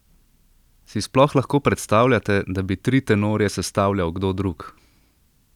Si sploh lahko predstavljate, da bi tri tenorje sestavljal kdo drug?